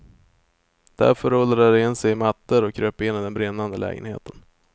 Därför rullade de in sig i mattor och kröp in i den brinnande lägenheten.